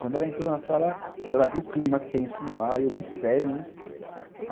Quando ela entrou na sala, ela viu o clima tenso no ar e eu bem sério, né.